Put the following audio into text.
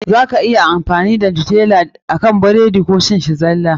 Za ka iya amfani da Nutella akan burodi Koh cin shi zalla.